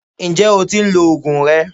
Ǹjẹ́ o tí ń lo oògùn rẹ?